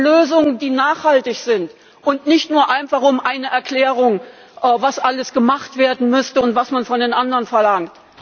Es geht um Lösungen, die nachhaltig sind, und nicht nur einfach um eine Erklärung, was alles gemacht werden müsste und was man von den anderen verlangt.